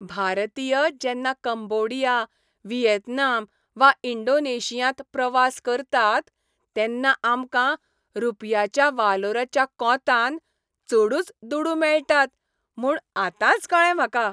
भारतीय जेन्ना Cambodia, Vietnam वा इंडोनेशियांत प्रवास करतात तेन्ना आमकां रूपयाच्या वालोराच्या कोंतान चडूच दुडू मेळटात म्हूण आतांच कळ्ळें म्हाका.